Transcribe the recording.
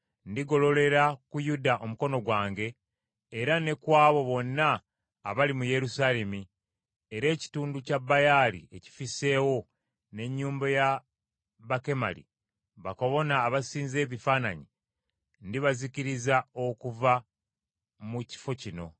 Ndigololera ku Yuda omukono gwange, era ne ku abo bonna abali mu Yerusaalemi; era ekitundu kya Baali ekifisseewo n’ennyumba ya Bakemali, bakabona abasinza ebifaananyi, ndibazikiriza okuva mu kifo kino,